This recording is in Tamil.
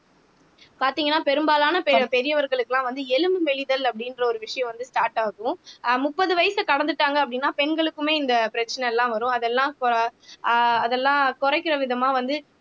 பாத்தீங்கன்னா பெரும்பாலான பெரியவர்களுக்கெல்லாம் வந்து எலும்பு மெலிதல் அப்படின்ற ஒரு விஷயம் வந்து ஸ்டார்ட் ஆகும் அஹ் முப்பது வயசை கடந்துட்டாங்க அப்படின்னா பெண்களுக்குமே இந்த பிரச்சனை எல்லாம் வரும் அதெல்லாம் ஆஹ் அதெல்லாம் குறைக்கிற விதமா வந்து